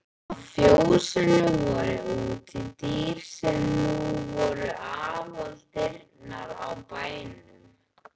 Á fjósinu voru útidyr sem nú voru aðaldyrnar á bænum.